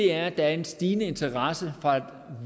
er at der er en stigende interesse fra